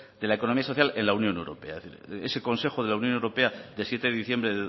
de la economía social en la unión europea ese consejo de la unión europea de siete de diciembre